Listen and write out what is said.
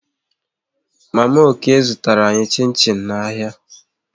Mama Okey zụtara anyị chin chin n'ahịa